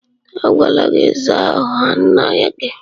A gwala gị zaa aha nna gị!